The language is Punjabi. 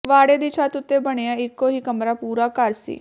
ਵਾੜੇ ਦੀ ਛੱਤ ਉੱਤੇ ਬਣਿਆ ਇੱਕੋ ਹੀ ਕਮਰਾ ਪੂਰਾ ਘਰ ਸੀ